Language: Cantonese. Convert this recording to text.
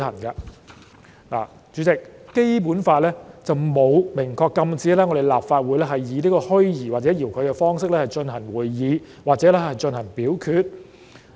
代理主席，《基本法》並沒有明確禁止立法會以虛擬或者遙距的方式進行會議或進行表決。